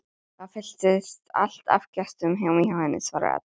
Það fylltist allt af gestum heima hjá henni, svarar Edda.